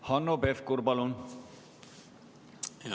Hanno Pevkur, palun!